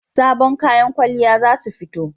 Sabon kayan kwalliya za su fito